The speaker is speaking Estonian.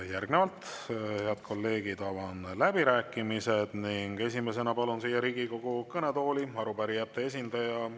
Järgnevalt, head kolleegid, avan läbirääkimised ja esimesena palun siia Riigikogu kõnetooli arupärijate esindaja.